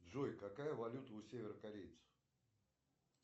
джой какая валюта у северокорейцев